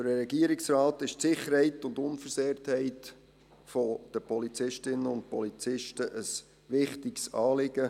Für den Regierungsrat ist die Sicherheit und Unversehrtheit der Polizistinnen und Polizisten ein wichtiges Anliegen.